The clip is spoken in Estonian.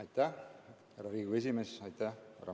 Aitäh, härra Riigikogu esimees!